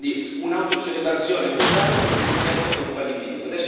Quindi un'autocelebrazione totale per un progetto che è un fallimento.